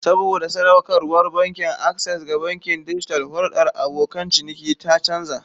Saboda sadaukarwar Bankin Access ga bankin dijital, hulɗar abokan ciniki ta canza.